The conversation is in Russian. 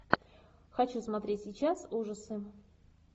хочу смотреть сейчас ужасы